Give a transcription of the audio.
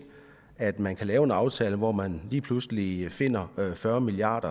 at man kan lave en aftale hvor man lige pludselig finder fyrre milliard